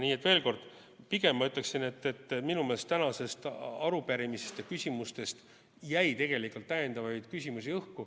Nii et veel kord, pigem ma ütleksin, et minu meelest tänastest arupärimise küsimustest jäi tegelikult õhku täiendavaid küsimusi.